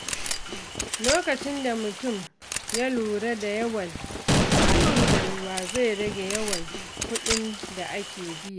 Lokacin da mutum ya lura da yawan amfani da ruwa, zai rage yawan kuɗin da ake biya.